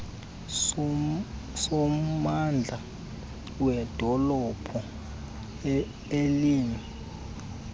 sommandla wedolophu elimi